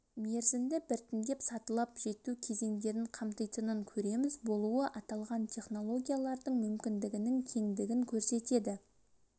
мерзімді біртіндеп сатылап жету кезеңдерін қамтитынын көреміз болуы аталған технологиялардың мүмкіндігінің кеңдігін көрсетеді